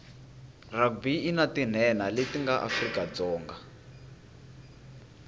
rugby inatinhenha letinga afrika dzonga